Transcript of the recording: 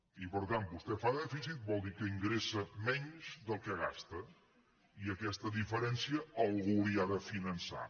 i per tant vostè fa dèficit vol dir que ingressa menys del que gasta i aquesta diferència algú la hi ha de finançar